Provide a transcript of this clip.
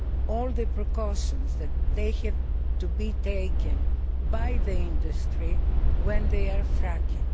all the precautions that have to be taken by the industry when they are fracking.